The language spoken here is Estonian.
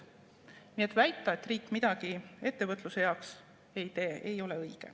Nii et väita, et riik midagi ettevõtluse heaks ei tee, ei ole õige.